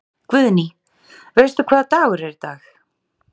Guðný: Veistu hvaða dagur er í dag?